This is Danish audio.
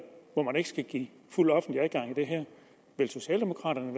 hvor man ikke skal give fuld offentlig adgang vil socialdemokraterne